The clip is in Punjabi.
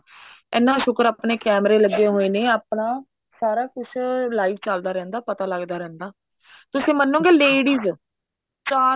ਇੰਨਾ ਸ਼ੁਕਰ ਆਪਣੇ ਕੇਮਰੇ ਲੱਗੇ ਹੋਏ ਨੇ ਆਪਣਾ ਸਰ ਕੁੱਝ live ਚੱਲਦਾ ਰਹਿੰਦਾ ਪਤਾ ਲੱਗਦਾ ਰਹਿੰਦਾ ਤੁਸੀਂ ਮੰਨਗੇ ladies ਚਾਰ